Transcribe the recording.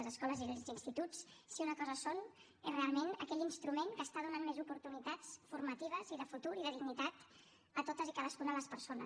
les escoles i els instituts si una cosa són és realment aquell instrument que està donant més oportunitats formatives i de futur i de dignitat a totes i cadascuna de les persones